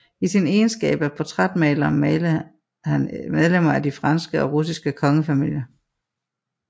I sin egenskab af portrætmaler malede han medlemmer af de franske og russiske kongefamilier